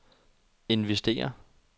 investere